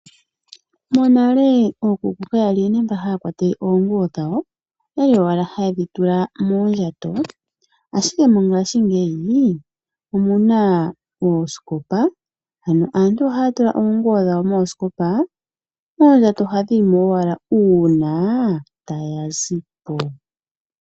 Monale okuku kaya li nande haya pakele oonguwo dhawo, oyali owala haye dhi tula moondjato, ashike mongashingeyi omuna oosikopa, ano aantu ohaya tula oonguwo dhawo moosikopa moondjato dhawo ohadhi yimo owala una taya zi po.